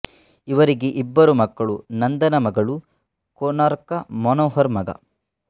ಇವರಿಗೆ ಇಬ್ಬರು ಮಕ್ಕಳು ನಂದನಾ ಮಗಳು ಕೊನಾರ್ಕ ಮನೋಹರ್ ಮಗ